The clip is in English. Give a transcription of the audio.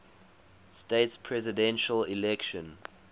states presidential election